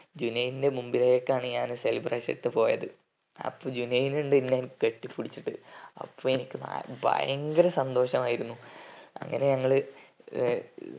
ജുനൈൻ ന്റെ മുന്നിലേക്കാണ് ഞാൻ celebration ഇട്ടു പോയത് അപ്പൊ ജുനൈൻ ഇന്ദ് എന്നെ കെട്ടിപിടിച്ചിട്ടു അപ്പൊ അനക് നൽ ഭയങ്കര സന്തോഷമായിരുന്നു അങ്ങനെ ഞങ്ങള് ഏർ